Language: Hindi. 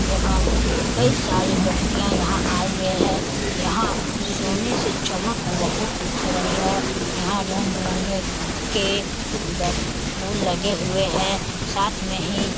एवं कई सारे व्यक्तियाँ यहाँ आए हुए हैं यहाँ सोने से चमक बहोत उठ रही है यहाँ रंग-बिरंगे के फूल लगे हुए हैं साथ में ही --